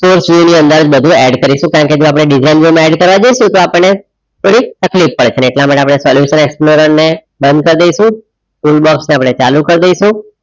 soarce view ની અંદર બધું add કરીશું કારણ કે જો આપણે design view માં add કરવા જઈશું તો અપણને થોડિક તકલીફ પડશે એટલા માટે આપણે explorer ને બંધ કરી દઈશું tool box ને આપણે ચાલુ કરી દઈશું.